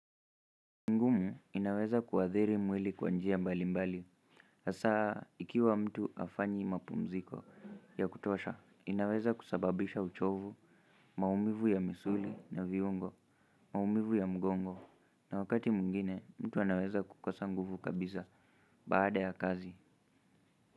Inaweza kuathiri mwili kwa njia mbali mbali hasaa ikiwa mtu hafanyi mapumziko ya kutosha inaweza kusababisha uchovu, maumivu ya misuli na viungo, maumivu ya mgongo na wakati mwingine mtu anaweza kukosa nguvu kabisa baada ya kazi.